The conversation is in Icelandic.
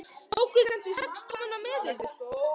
Tókuð þér kannski sex tommuna með yður?